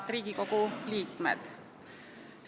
Head Riigikogu liikmed!